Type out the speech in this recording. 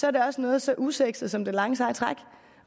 er det også noget så usexet som det lange seje træk